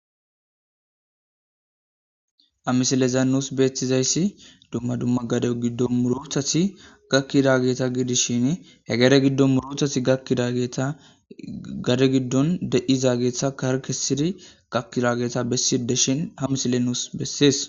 amisileza nuus beettizayssi dumma dumma gade giddo murothasi gakkida geeta giidishin hegere giddon murothati gakkida geeta gade giddon de7iza geetha karkesidi gakkidageeta bessideshin hamisile nuus bessees